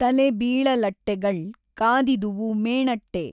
ತಲೆ ಬೀಳಲಟ್ಟೆಗಳ್ ಕಾದಿದುವು ಮೇಣಟ್ಟೆ।